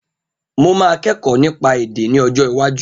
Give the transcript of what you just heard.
Mo máa kẹ́kọ̀ọ́ nípa èdè ní ọjọ́ iwájú